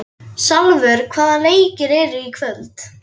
Salvör, hvaða leikir eru í kvöld?